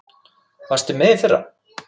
Varstu með í fyrra?